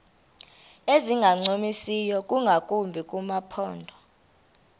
ezingancumisiyo ingakumbi kumaphondo